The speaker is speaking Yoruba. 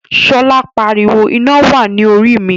Shola pariwo, "Ina wa ni Orí mi!"